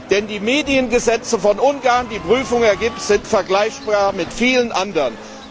Denn die Mediengesetze von Ungarn die Prüfung ergibt das sind vergleichbar mit vielen anderen.